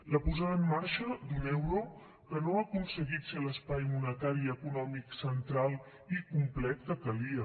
la posada en marxa d’un euro que no ha aconseguit ser l’espai monetari i econòmic central i complet que calia